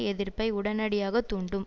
எதிர்ப்பை உடனடியாக தூண்டும்